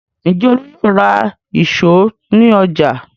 Ǹjẹ́ Olú yóò ra ìṣó ní ọjà?